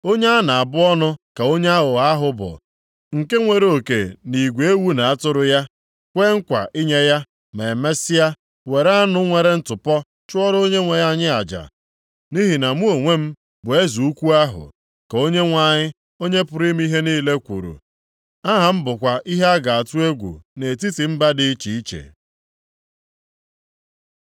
“Onye a na-abụ ọnụ ka onye aghụghọ ahụ bụ nke nwere oke nʼigwe ewu na atụrụ ya, kwee nkwa inye ya, ma mesịa were anụ nwere ntụpọ chụọrọ Onyenwe anyị aja. Nʼihi na mụ onwe m bụ Eze ukwu ahụ,” ka Onyenwe anyị, Onye pụrụ ime ihe niile kwuru, “aha m bụkwa ihe a ga-atụ egwu nʼetiti mba dị iche iche.